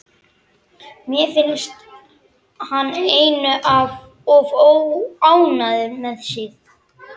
Mér finnst hann einum of ánægður með sig.